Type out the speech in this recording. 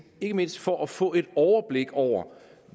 ikke mindst for at få et overblik over